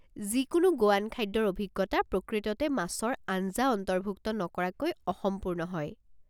যিকোনো গোৱান খাদ্যৰ অভিজ্ঞতা প্ৰকৃততে মাছৰ আঞ্জা অন্তৰ্ভুক্ত নকৰাকৈ অসম্পূৰ্ণ হয়।